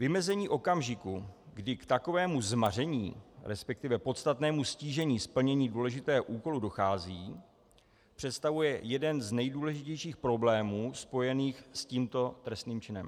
Vymezení okamžiku, kdy k takovému zmaření, respektive podstatnému ztížení splnění důležitého úkolu dochází, představuje jeden z nejdůležitějších problémů spojených s tímto trestným činem.